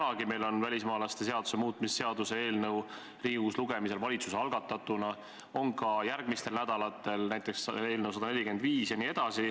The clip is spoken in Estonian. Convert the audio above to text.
Tänagi on meil laual valitsuse algatatud välismaalaste seaduse muutmise seaduse eelnõu, on ka järgmistel nädalatel, näiteks eelnõu 145.